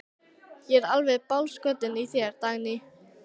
Ég er alveg bálskotinn í þér, Dagný!